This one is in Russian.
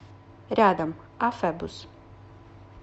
рядом афэбус